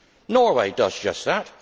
Norway does just that.